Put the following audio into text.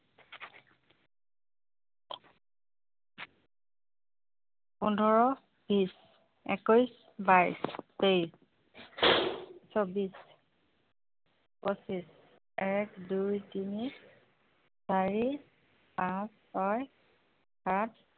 পোন্ধৰ বিচ একৈশ বাইশ তেইশ চৌবিশ পচিশ এক দুই তিনি চাৰি পাঁচ ছয় সাত